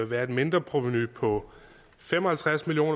være et mindre provenu på fem og halvtreds million